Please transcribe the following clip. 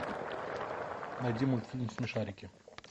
найди мультфильм смешарики